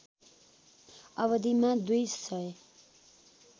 अवधिमा दुई सय